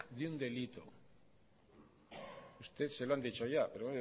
de un delito a usted se lo han dicho ya pero